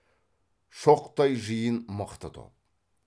шоқтай жиын мықты топ